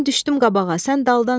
Mən düşdüm qabağa, sən daldan sür.